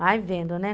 Vai vendo, né?